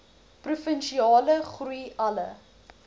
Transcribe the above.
provinsiale groei alle